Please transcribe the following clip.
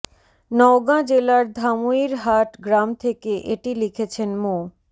নওগাঁ জেলার ধামইর হাট গ্রাম থেকে এটি লিখেছেন মো